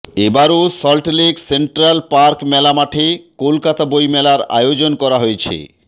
এবারও Salt Lake central park মেলা মাঠে কলকাতা বইমেলার আয়োজন করা হয়েছে